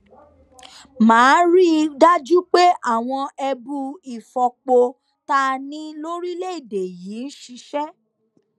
má a rí i dájú pé àwọn ẹbu ìfọpo tá a ní lórílẹèdè yìí ń ṣiṣẹ